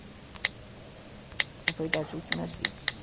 Essa foi das últimas vezes.